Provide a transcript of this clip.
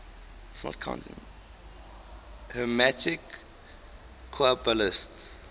hermetic qabalists